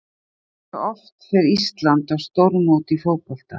Hversu oft fer Ísland á stórmót í fótbolta?